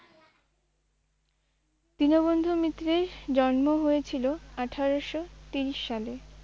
দীনবন্ধু মিত্রের জন্ম হয়েছিল আঠেরোশো তিরিশ সালে।